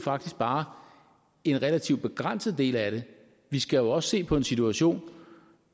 faktisk bare en relativt begrænset del af det vi skal også se på en situation